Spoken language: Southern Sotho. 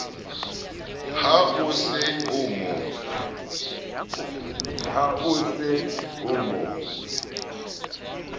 ha o se o mo